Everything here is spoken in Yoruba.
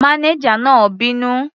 Mánéjà náà bínú.